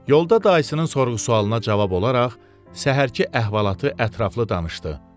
Yolda dayısının sorğu-sualına cavab olaraq səhərki əhvalatı ətraflı danışdı.